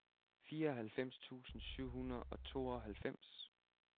fireoghalvfjerds tusind syv hundrede og tooghalvfems